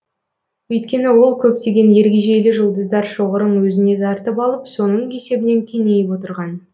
өйткені ол көптеген ергежейлі жұлдыздар шоғырын өзіне тартып алып соның есебінен кеңейіп отырған